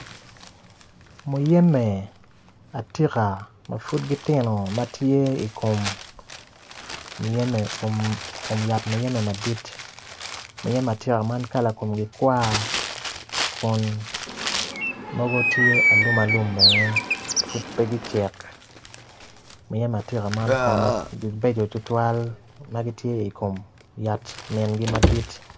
Muyembe atika ma pud gitye i kom yat muyember madit muyembe atika man kala komgi tar kun mogo tye alum alum bene pud peya gucek.